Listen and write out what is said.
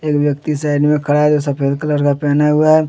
व्यक्ति साइड में खड़ा है जो सफेद कलर का पहना हुआ है।